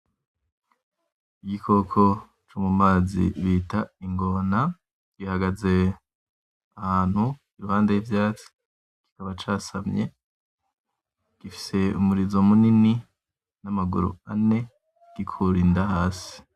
Igikoko co mumazi bita ingona, gihagaze ahantu impande y'ivyatsi kikaba casamye gifise umurizo munini namaguru ane, gikura inda hasi.